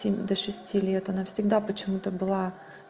до шести лет она всегда почему-то была